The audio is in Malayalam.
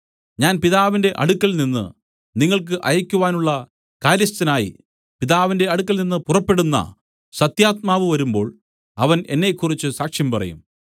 ഞാൻ പിതാവിന്റെ അടുക്കൽനിന്ന് നിങ്ങൾക്ക് അയക്കുവാനുള്ള കാര്യസ്ഥനായി പിതാവിന്റെ അടുക്കൽ നിന്നു പുറപ്പെടുന്ന സത്യാത്മാവ് വരുമ്പോൾ അവൻ എന്നെക്കുറിച്ച് സാക്ഷ്യം പറയും